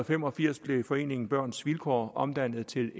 fem og firs blev foreningen børns vilkår omdannet til